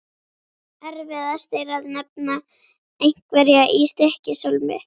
Erfiðast er að nefna einhverja í Stykkishólmi.